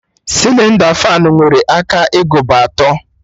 Sịlịnda fanụ nwere aka agụba atọ